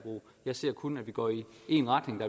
jeg ser kun går i én retning og